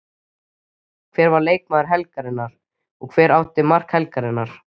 Hver var leikmaður helgarinnar og hver átti mark helgarinnar?